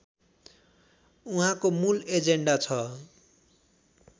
उहाँको मूल एजेन्डा छ